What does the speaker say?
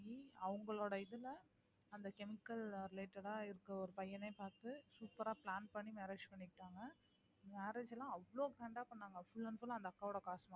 அவங்களோட இதுல அந்த chemical related ஆ இருக்கிற பையன பாத்து super ஆ plan பண்ணி marriage பண்ணிகிட்டாங்க marriage ல அவ்ளோ grand ஆ பண்ணாங்க full and full அந்த அக்காவோட காசு வாங்கி தான்